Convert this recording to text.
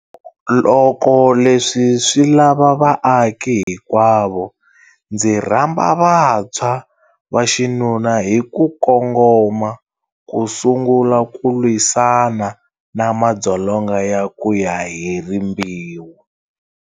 Loko leswi swilava vaaki hinkwavo, ndzi rhamba vantshwa vaxinuna hi ku kongoma ku sungula ku lwisana na madzolonga ya ku ya hi rimbewu.